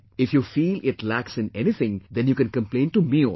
If you feel it lacks in anything then you can complain to me also